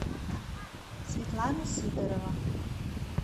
светлана сидорова